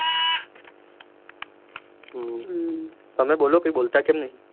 હમ તમે બોલો કાંઈ બોલતા કેમ નહિ?